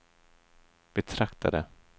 betraktade